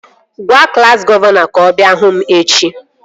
Gwaa klassi gọvanọ ka ọ bịa hụ m echi!